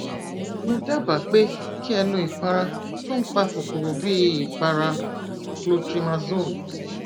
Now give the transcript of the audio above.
mo dábàá pé kí ẹ lo ìpara tó n pa kòkòrò bíi ìpara clotrimazole